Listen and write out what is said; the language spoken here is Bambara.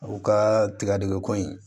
U ka tigadɛgɛn ko in